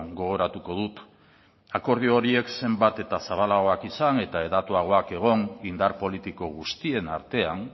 gogoratuko dut akordio horiek zenbat eta zabalagoak izan eta hedatuagoak egon indar politiko guztien artean